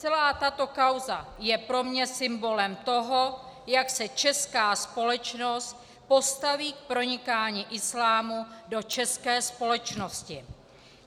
Celá tato kauza je pro mě symbolem toho, jak se česká společnost postaví k pronikání islámu do české společnosti.